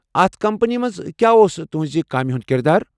اتھ کمپٔنی منٛز کیٚا اوس تہنٛزِ کامہِ ہُنٛد کِردار؟